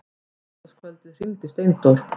Á laugardagskvöldið hringdi Steindór.